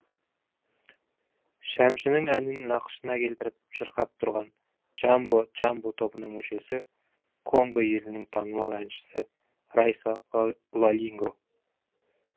шәмшінің әнін нақышына келтіріп шырқап тұрған джамбо джамбо тобының мүшесі конго елінің танымал әншісі райса лолинго